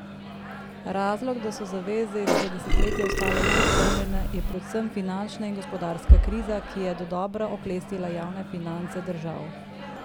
Razlog, da so zaveze izpred desetletja ostale neizpolnjene, je predvsem finančna in gospodarska kriza, ki je dodobra oklestila javne finance držav.